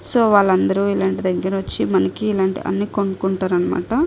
So వాళ్ళందరు వచ్చి మనకి ఇలాంటి వాళ్ళ దగ్గర కోచి అన్నీ కొనుకుంటారు అనమాట.